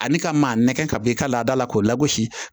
Ani ka maa nɛgɛ ka bɔ i ka laada la k'o lagosi